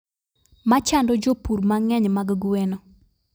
Machando jopur mang'eny mag gweno